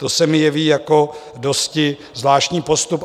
To se mi jeví jako dosti zvláštní postup.